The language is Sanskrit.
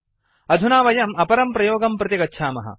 अधुना वयम् अपरं प्रयोगं प्रति गच्छामः